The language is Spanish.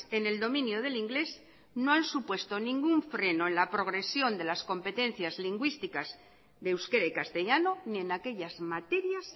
en el dominio del inglés no han supuesto ningún freno en la progresión de las competencias lingüísticas de euskera y castellano ni en aquellas materias